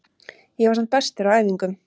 Ég var samt bestur á æfingum.